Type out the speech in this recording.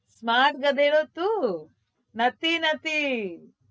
Smart ગધેડો તું નથી નથી